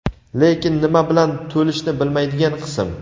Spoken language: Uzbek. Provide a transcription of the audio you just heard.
lekin nima bilan to‘lishni bilmaydigan qism.